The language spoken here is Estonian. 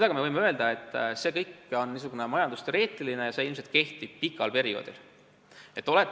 Me võime ju öelda, et see kõik on niisugune majandusteoreetiline jutt ja ilmselt kehtib pika perioodi puhul.